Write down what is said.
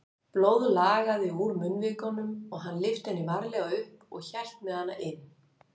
Blóð lagaði úr munnvikunum og hann lyfti henni varlega upp og hélt með hana inn.